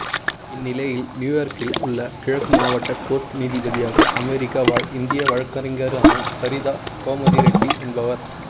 இந்நிலையில் நியூயார்க்கில் உள்ள கிழக்கு மாவட்ட கோர்ட் நீதிபதியாக அமெரிக்கா வாழ் இந்திய வழக்கறிஞரான சரிதா கோமதிரெட்டி என்பவர்